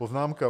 Poznámka: